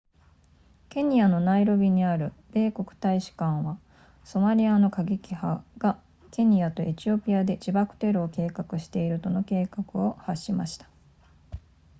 ケニアのナイロビにある米国大使館はソマリアの過激派がケニアとエチオピアで自爆テロを計画しているとの警告を発しました